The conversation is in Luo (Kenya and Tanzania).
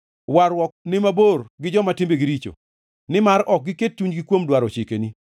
Warruok ni mabor gi joma timbegi richo, nimar ok giket chunygi kuom dwaro chikeni.